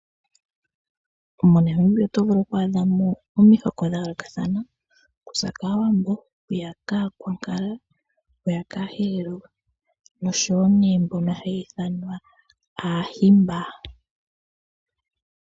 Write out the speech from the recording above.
Mo Namibia otovulu oku adhamo omihoko dha yoolokathana ,okuza kaawambo, aakwankala, Aaherero noshowo nee mbono haya ithanwa Aahimba.